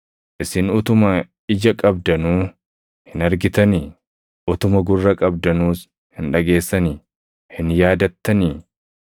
Isin utuma ija qabdanuu hin argitanii? Utuma gurra qabdanuus hin dhageessanii? Hin yaadattanii?